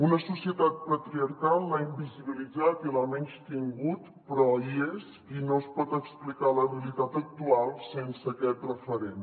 una societat patriarcal l’ha invisibilitzat i l’ha menystin·gut però hi és i no es pot explicar la realitat actual sense aquest referent